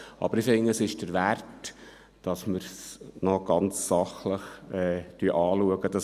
Aber ich finde, es ist es wert, dass wir dieses Anliegen ganz sachlich anschauen.